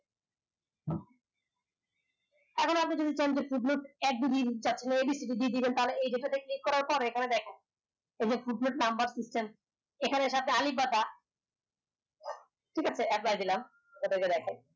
এখন আপনি যদি চান abc দিয়ে দিবেন তাইলে click করার পরে এই গুলো নাম্বার এখানে সাথে আলিফ বা তা ঠিক আছে এক বারে দিলাম